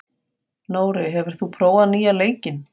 Nóri, hefur þú prófað nýja leikinn?